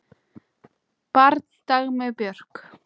Barn Dagmey Björk.